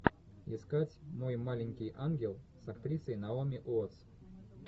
искать мой маленький ангел с актрисой наоми уоттс